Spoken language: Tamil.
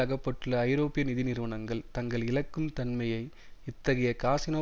அகப்பட்டுள்ள ஐரோப்பிய நிதி நிறுவனங்கள் தங்கள் இழக்கும் தன்மையை இத்தகைய காசினோ